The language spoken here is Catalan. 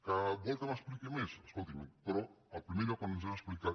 que vol que m’expliqui més escolti’m però el primer lloc on ens hem explicat